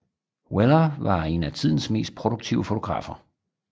Weller var en af tidens mest produktive fotografer